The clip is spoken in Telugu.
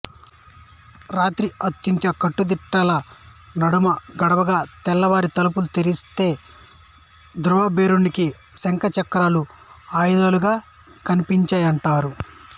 రాత్రి అత్యంత కట్టుదిట్టాల నడుమ గడవగా తెల్లవారి తలుపులు తెరిస్తే ధ్రువబేరానికి శంఖ చక్రాలు ఆయుధాలుగా కనిపించాయంటారు